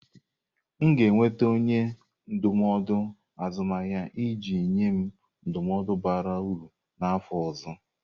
M ga-enweta onye ndụmọdụ azụmahịa iji nye m ndụmọdụ bara uru n'afọ ọzọ.